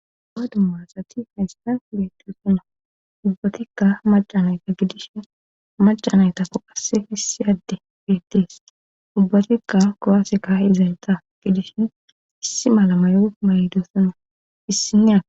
Uwa duma asati haystan beetoosona ubbatikka macanayta gidishin macanaytakko qasse hessi adde beettees ubbatikka kowaaseka izareta gidishin issi malama yoge malydossana issinnea